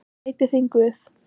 Gæti þín Guð.